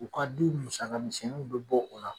U ka du musaka minsɛniw be bɔ o la